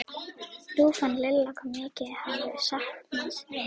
Nú fann Lilla hvað mikið hún hafði saknað hans.